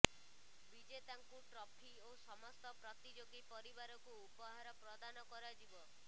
ବିଜେତାଙ୍କୁ trophy ଓ ସମସ୍ତ ପ୍ରତିଯୋଗୀ ପରିବାରକୁ ଉପହାର ପ୍ରଦାନ କରାଯିବ